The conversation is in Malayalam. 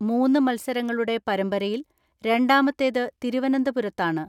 മൂന്ന് മത്സരങ്ങളുടെ പരമ്പരയിൽ രണ്ടാമത്തേത് തിരുവനന്തപുരത്താ ണ്.